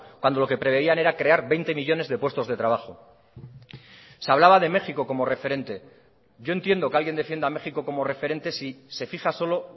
cuando lo que preveían era crear veinte millónes de puestos de trabajo se hablaba de méxico como referente yo entiendo que alguien defienda a méxico como referente si se fija solo